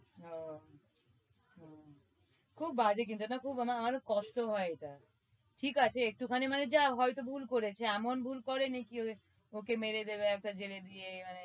ওহ হম খুব বাজে কিন্তু এইটা খুব আমার খুব কষ্ট হয় এইটা ঠিক আছে একটু খানি মানে যা হয়তো ভুল করেছে এমন ভুল করেনি যে ওকে মেরে দেবে একবার জেলে দিয়ে